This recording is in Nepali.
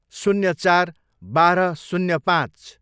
शून्य चार, बाह्र, शून्य पाँच